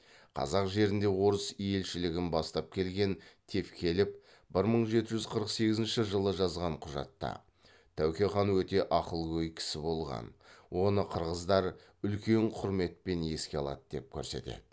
қазақ жеріне орыс елшілігін бастап келген тевкелев бір мың жеті жүз қырық сегізінші жылы жазған құжатта тәуке хан өте ақылгөй кісі болған оны қырғыздар үлкен құрметпен еске алады деп көрсетеді